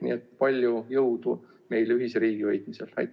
Nii et palju jõudu meile ühise riigi hoidmisel!